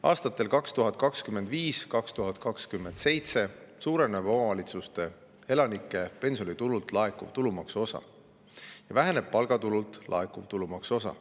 Aastatel 2025–2027 suureneb omavalitsuste elanike pensionitulult laekuv tulumaksu osa ja väheneb palgatulult laekuv tulumaksu osa.